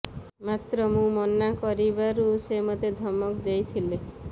ମାତ୍ର ମୁଁ ମନା କରିବାରୁ ସେ ମୋତେ ଧମକ ଦେଇଥିଲେ